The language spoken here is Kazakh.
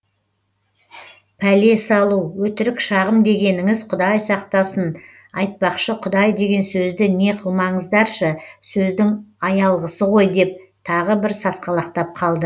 пәле салу өтірік шағым дегеніңіз құдай сақтасын айтпақшы құдай деген сөзді не қылмаңыздаршы сөздің аялғысы ғой деп тағы бір сасқалақтап қалды